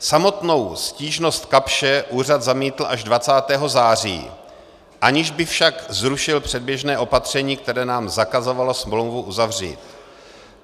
Samotnou stížnost Kapsche úřad zamítl až 20. září, aniž by však zrušil předběžné opatření, které nám zakazovalo smlouvu uzavřít.